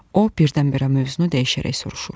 O birdən-birə mövzunu dəyişərək soruşur.